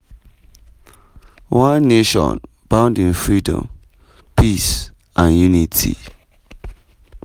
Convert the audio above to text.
one nation bound in freedom peace and unity.”.